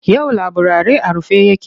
Yau laburare a rufe yake.